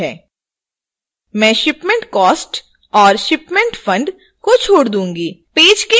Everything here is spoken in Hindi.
मैं shipment cost और shipment fund को छोड़ दूंगी